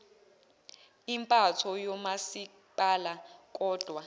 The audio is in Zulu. impatho yomasipala kodwa